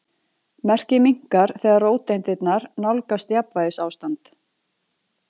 Merkið minnkar þegar róteindirnar nálgast jafnvægisástand.